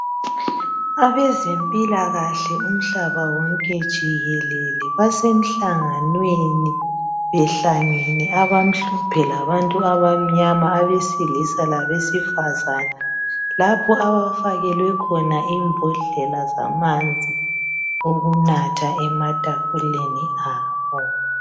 Abezempilakahle umhlaba wonke jikelele basemhlanganweni behlangene abamhlophe labantu abamnyama abesilisa labesifazana. Lapho abafakelwe khona imbodlela zamanzi okunatha ematafuleni abo .